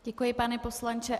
Děkuji, pane poslanče.